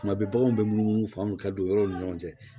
Tuma bɛɛ baganw bɛ munumunu fanga ka don yɔrɔw ni ɲɔgɔn cɛ